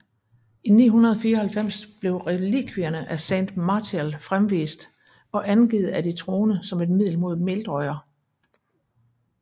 I 994 blev relikvierne af Saint Martial fremvist og angivet af de troende som et middel mod Meldrøjer